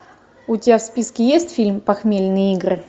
у тебя в списке есть фильм похмельные игры